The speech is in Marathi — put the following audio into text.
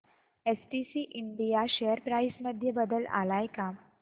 एसटीसी इंडिया शेअर प्राइस मध्ये बदल आलाय का